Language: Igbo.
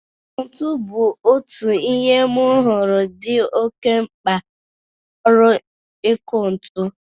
Ntu bụ otu ihe m huru di oke mkpa n'ọrụ iku ntu.